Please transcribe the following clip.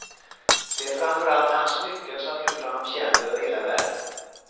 Det är framför allt hans smycken som gjort honom känd över hela världen.